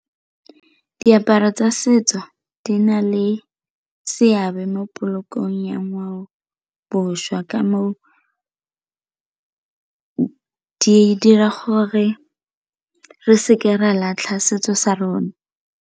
Diaparo tsa setso di na le seabe mo polokong ya ngwao boswa di dira gore re seke re a latlha setso sa rona.